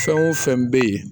Fɛn o fɛn bɛ yen